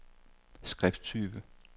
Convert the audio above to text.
skrifttype